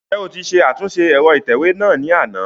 Njẹ o ti ṣe atunṣe ẹrọ itẹwe náa ni ana?